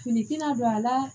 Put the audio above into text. Finikina don a la